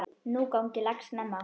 Nú gangi lax snemma.